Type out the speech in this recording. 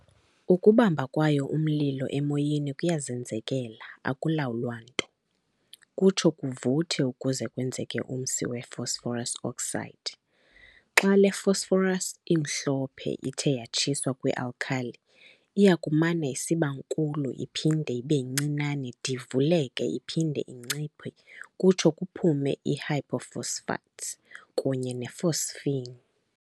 Ukubamba kwayo umlilo emoyeni kuyazenzekela akulawulwa nto, kutsho kuvuthe ukuze kwenzeke umsi we-phosphorus V oxide. Xa le phosphorus imhlophe ithe yatshiswa kwi-alkali, iyakumana isibankulu iphinde ibencinane divuleka iphinde inciphe kutsho kuphume i-hypophosphites ne-phosphine.